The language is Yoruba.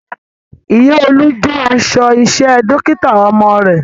Ìyá Olú jó aṣọ iṣẹ́ Dókítà ọmọ rẹ̀